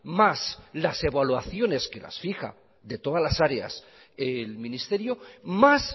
más las evaluaciones que las fija de todas las áreas el ministerio más